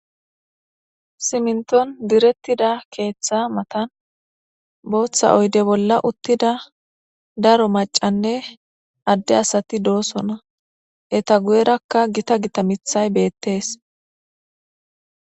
Siminton direttida keeththa matan booththa oyde bolla uttida daro macanne adde asati doosona eta guyerakka gita gita mithay beettees.